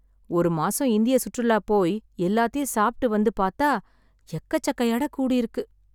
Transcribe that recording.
ஒரு மாசம் இந்திய சுற்றுலா போய் எல்லாத்தையும் சாப்பிட்டு வந்து பாத்தா எக்கச்சக்க எடக் கூடிருக்கு.